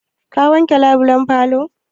Ka wanke labulan falo?